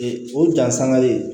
Ee o dansan le